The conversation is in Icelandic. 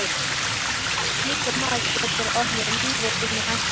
Slíkur maður getur orðið lífi þínu hættulegur.